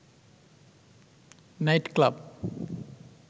night club